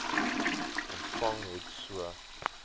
ontvang het so